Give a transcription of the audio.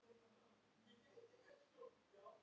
Enginn veit af hverju.